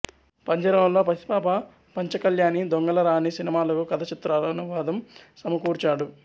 పంజరంలో పసిపాప పంచ కళ్యాణి దొంగల రాణి సినిమాలకు కథ చిత్రానువాదం సమకూర్చాడు